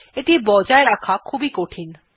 এটি বজায় রাখা খুবই কঠিন